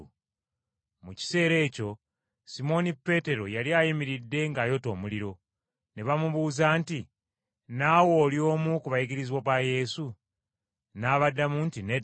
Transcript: Mu kiseera ekyo Simooni Peetero yali ayimiridde ng’ayota omuliro. Ne bamubuuza nti, “Naawe oli omu ku bayigirizwa ba Yesu?” N’abaddamu nti, “Nedda.”